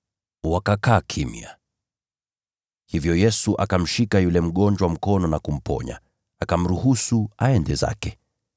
Wakakaa kimya. Hivyo Yesu akamshika yule mgonjwa mkono na kumponya, akamruhusu aende zake.